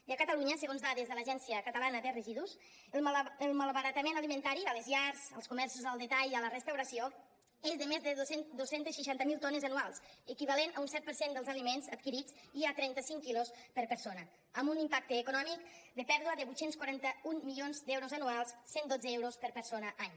i a catalunya segons dades de l’agència catalana de residus el malbaratament alimentari a les llars als comerços al detall i a la restauració és de més de dos cents i seixanta miler tones anuals equivalent a un set per cent dels aliments adquirits i a trenta cinc quilos per persona amb un impacte econòmic de pèrdua de vuit cents i quaranta un milions d’euros anuals cent i dotze euros per persona any